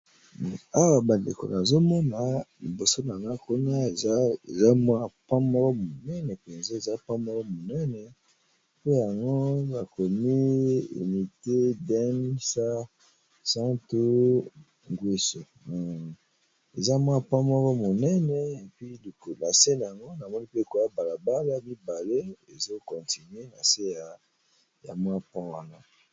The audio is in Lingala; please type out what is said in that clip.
Awa bandeko nazomona liboso na ngai pont munene bakomi Dennis sassou N'gwesso eza nakati balabala mibale ezo continuer nase ya pont wana.